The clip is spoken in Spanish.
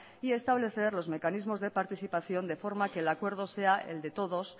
y establecer los mecanismos de participación de forma que el acuerdo sea el de todos